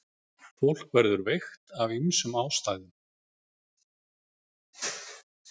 Fólk verður veikt af ýmsum ástæðum.